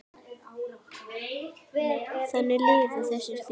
Þannig liðu þessi þrjú ár.